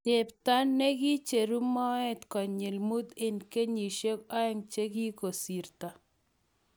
chepto ne kiicheru moet konyil mut eng kenyisiek oeng' che kikosirto